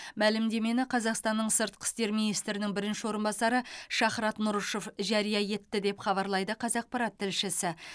мәлімдемені қазақстанның сыртқы істер министрінің бірінші орынбасары шахрат нұрышев жария етті деп хабарлайды қазақпарат тілшісі